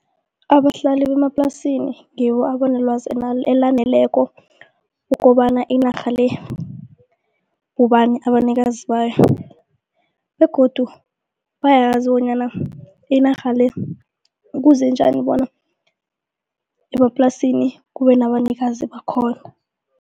Abahlali bemaplasini ngibo abanelwazi elaneleko ukobana inarha le bobani abanikazi bayo begodu bayazi bonyana inarha le kuze njani bona emaplasini kubenabanikazi bakhona.